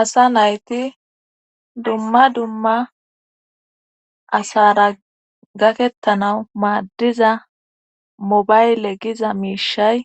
asa nayti dumma dumma asara gakettanawu maaddiza mobayle giza miishay